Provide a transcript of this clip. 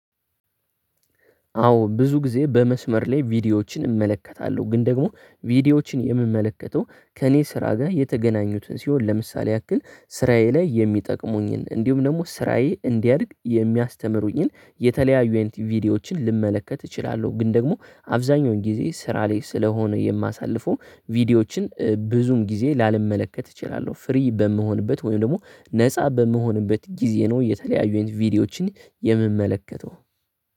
አዎ ብዙ ጊዜ በመስመር ላይ ቪዲዮዎችን እመለከታለሁ ግን ደግሞ ቪዲዮዎችን የምመለከተው ከእኔ ስራ ጋር የተገናኙትን ሲሆን ለምሳሌ ያክል ስራዬ ላይ የሚጠቅሙኝን እንዲሁም ደግሞ ስራዬ እንዲያድግ የሚያስተምሩኝን የተለያዩ ኤንድ ቪዲዮዎችን ልመለከት እችላለሁ ግን ደግሞ አብዛኛውን ጊዜ ስራ ላይ ስለሆነ የማሳልፈው ቪዲዮዎችን ብዙም ጊዜ ላመለከት እችላለሁ ፍሪ በምሆንበት ወይም ደግሞ ነፃ በመሆንበት ጊዜ ነው የተለያዩኝ ቪዲዮዎችን የምመለከተው።